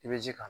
I bɛ ji k'a kan